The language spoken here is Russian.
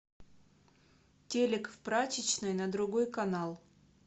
телек в прачечной на другой канал